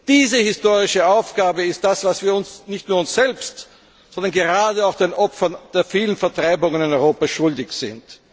Diese historische Aufgabe ist das, was wir nicht nur uns selbst, sondern gerade auch den Opfern der vielen Vertreibungen in Europa schuldig sind.